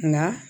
Nka